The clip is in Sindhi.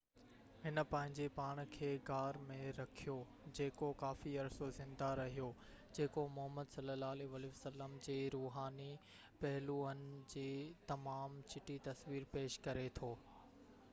هن پنهنجي پاڻ کي غار ۾ رکيو جيڪو ڪافي عرصو زنده رهيو جيڪو محمد صلي الله عليه وسلم جي روحاني پهلوئن جي تمام چٽي تصوير پيش ڪري ٿو